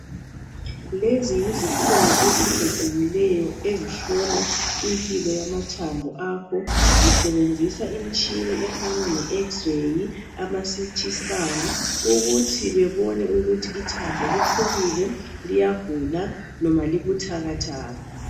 Lezi yizikhungu ezikhethekileyo ezihlola impilo yamathambo akho. Zisebenzisa imishini efana le x-ray, amaCT scan ukuthi bebone ukuthi ithambo liphukile, liyagula noma libutakataka.